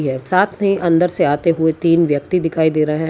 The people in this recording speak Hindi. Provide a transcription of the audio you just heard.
एक साथ मे अंदर से आते हुए तीन व्यक्ति दिखाई दे रहे हैं।